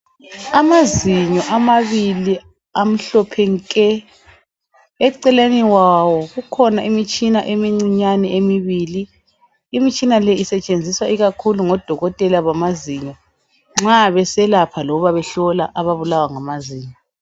Amazinyo amabili, amhlophe nke! Eceleni kwawo, kukhona imitshina emincinyane emibili. Imitshina le isetshenziswa, ikakhulu ngodokotela bamazinyo, nxa beselapha loba behlola ababulawa ngamazinyo.